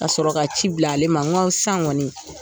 Ka sɔrɔ ka ci bila ale ma. N ko sisan kɔni